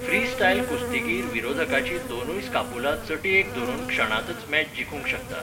Freestyle कुस्तीगीर विरोधकाची दोनूय स्कापुला चटयेक धरून क्षणांतच मॅच जिखूंक शकता.